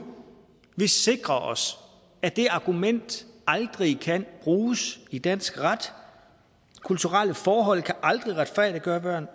vi sikrer os at det argument aldrig kan bruges i dansk ret kulturelle forhold kan aldrig retfærdiggøre